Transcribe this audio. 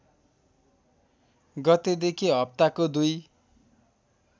गतेदेखि हप्ताको दुई